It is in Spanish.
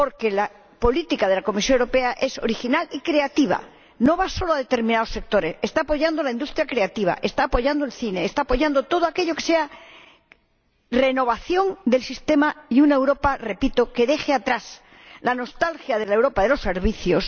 La política de la Comisión Europea es original y creativa, no va destinada solo a determinados sectores está apoyando la industria creativa, está apoyando el cine, está apoyando todo aquello que sea renovación del sistema y está apoyando una Europa, repito, que deje atrás la nostalgia de la Europa de los servicios.